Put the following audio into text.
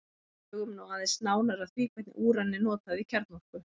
En hugum nú aðeins nánar að því hvernig úran er notað í kjarnorku.